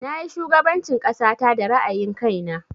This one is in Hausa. Na yi shugaban cin ƙasata da ra'ayin kai na